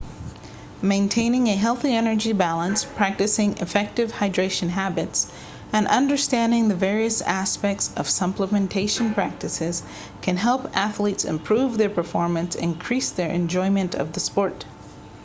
maintaining a healthy energy balance practicing effective hydration habits and understanding the various aspects of supplementation practices can help athletes improve their performance and increase their enjoyment of the sport